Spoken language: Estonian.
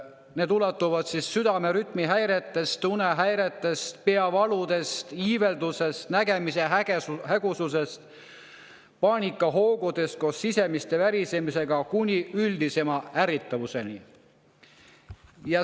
Need ulatuvad südame rütmihäiretest, unehäiretest, peavaludest, iiveldusest, nägemise hägususest, paanikahoogudest koos sisemise värisemisega kuni üldisema ärrituvuseni.